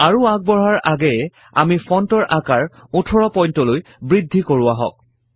আৰু আগবঢ়াৰ আগেয়ে আমি ফন্টৰ আকাৰ 18 point লৈ বৄদ্ধি কৰো আহক